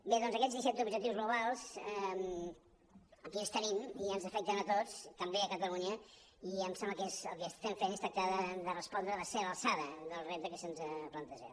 bé doncs aquests disset objectius globals aquí els tenim i ens afecten a tots també catalunya i em sembla que el que estem fent és tractar de respondre hi de ser a l’alçada del repte que se’ns planteja